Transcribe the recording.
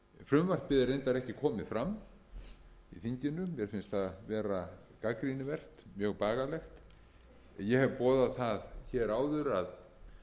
frumvarpið er reyndar ekki komið fram í þinginu mér finnst það vera gagnrýnivert mjög bagalegt ég hef boðað það hér áður að